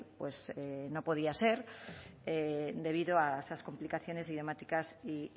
pues no podía ser debido a esas complicaciones idiomáticas y